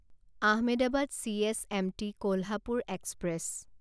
Ahmedabad CSMT Kolhapur express